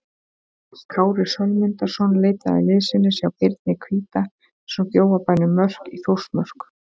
Kári Sölmundarson leitaði liðsinnis hjá Birni hvíta sem bjó á bænum Mörk í Þórsmörk.